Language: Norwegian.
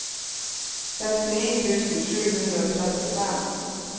sekstini tusen sju hundre og trettifem